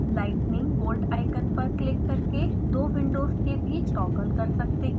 lightning bolt icon पर click करके दो विन्डोज़ के बीच टॉगल कर सकते हैं